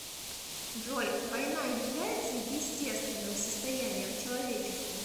джой война является естественным состоянием человечества